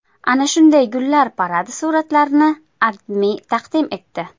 Ana shunday gullar paradi suratlarini AdMe taqdim etdi .